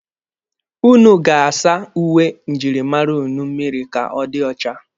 Ụnụ ga-asa uwe njirimara ụnụ mmịrị ka ọ dị ọcha.